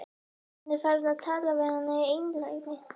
Hann er farinn að tala við hana í einlægni!